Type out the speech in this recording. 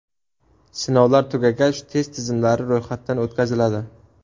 Sinovlar tugagach, test tizimlari ro‘yxatdan o‘tkaziladi.